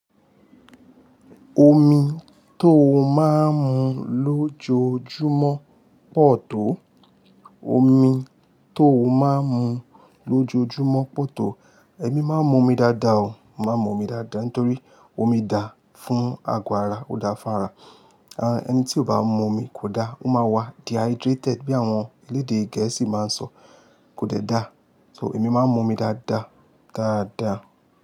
Omi tó máa ń mu lójoójúmọ́ pọ̀ tó. Omi tó máa ń mu lójoójúmọ́ pọ̀ tó. Ẹ̀mí máa ń mú omi dáadáa o, màá ń mú omi dáadáa nítorí omi dáa fún agọ ara, ó dáa fún ara. Eni tí ó bá mú omi kò dáa, ó máa wá dehydrated bí àwọn elédè Gẹ̀ẹ́sì máa ń sọ, kò dẹ̀ dáa. So ẹ̀mí máa ń mú omi dáadáa, dáadáa.